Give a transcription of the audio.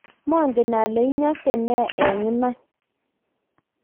manget ale inyose nee eng iman